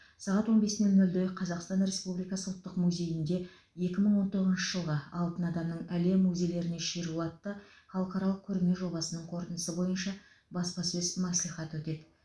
сағат он бес нөл нөлде қазақстан республикасы ұлттық музейінде екі мың он тоғызыншы жылғы алтын адамның әлем музейлеріне шеруі атты халықаралық көрме жобасының қорытындысы бойынша баспасөз мәслихаты өтеді